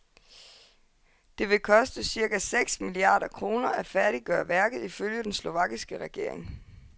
Det vil koste cirka seks milliarder kroner at færdiggøre værket, ifølge den slovakiske regering.